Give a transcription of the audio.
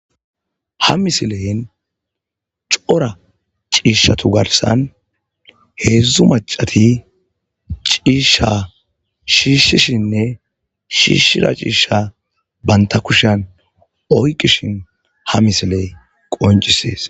Ha misileyan cora ciishata garssan heedzu maccati ciisha shiishishenne shiishida ciisha bantta kushen oykkishin ha misiley qonccisees.